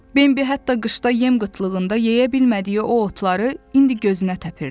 Bembi hətta qışda yem qıtlığında yeyə bilmədiyi o otları indi gözünə təpirdi.